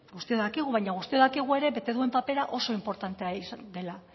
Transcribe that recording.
guztiok dakigu baina guztiok dakigu ere bete duen papera oso inportantea izan dela